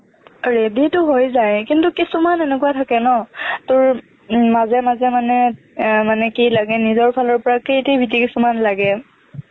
ready তো হৈ যায় কিন্তু কিছুমান এনেকুৱা থাকে ন তোৰ মাজে মাজে মানে এৰ মানে কি লাগে নিজৰ ফালৰ পৰা creativity কিছুমন লাগে